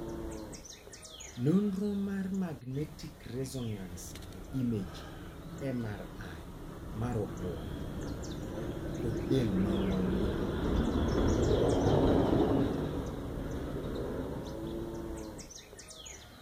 Nonro mar magnetic resonance imaging (MRI) mar obwongo kod del mar ng'ongo.